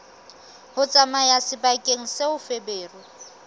ho tsamaya sebakeng seo feberu